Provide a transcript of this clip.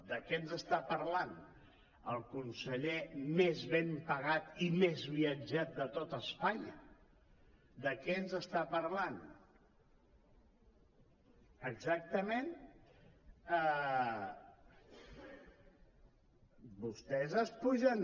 de què ens parla el conseller més ben pagat i més viatjat de tot espanya de què ens parla exactament vostès s’apugen